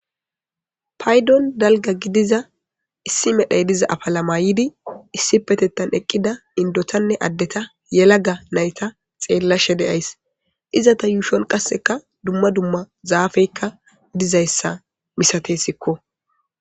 paydon dalga gidiza issi medhay diza apala maydi issi petettan eqqida indotanne addeta yela ga nayta xeella she.deays izata yuushon qasseka dumma dumma zaafeykka dizayssa misate sikko.